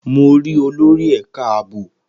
Mo rí olórí ẹ̀ka ààbò